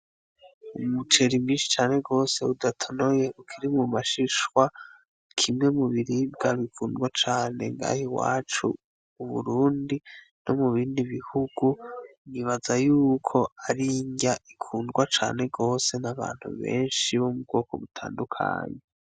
Umucera imbishi cane rwose budatonoye ukiri mu mashishwa kimwe mu biribwa bikundwa cane ngahe i wacu uburundi no mu bindi bihugu nibaza yuko arindya ikundwa cane rwose n'abantu benshi bo mu bwoko butandukanyi.